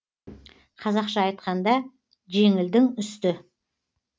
қазақша айтқанда жеңілдің үсті